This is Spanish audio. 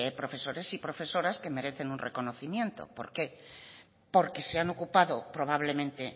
profesores y profesoras que merecen un reconocimiento por qué porque se han ocupado probablemente